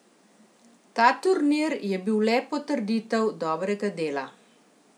Ta turnir je bil le potrditev dobrega dela.